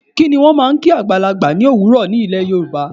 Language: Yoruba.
Kí ni wọ́n máa ń kí àgbàlagbà ní òwúrò ní ilè Yorùbá?